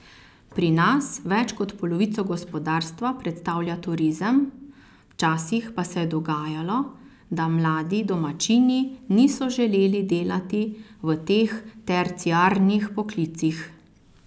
Pri nas več kot polovico gospodarstva predstavlja turizem, včasih pa se je dogajalo, da mladi domačini niso želeli delati v teh terciarnih poklicih.